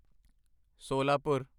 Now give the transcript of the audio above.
Solapur